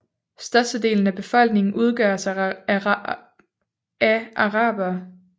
Størstedelen af befolkningen udgøres af arabere